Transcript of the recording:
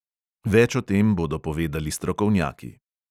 Več o tem bodo povedali strokovnjaki.